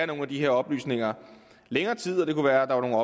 nogle af de her oplysninger i længere tid og det kunne være at